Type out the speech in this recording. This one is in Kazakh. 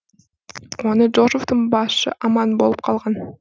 оны джозефтің басы аман алып қалған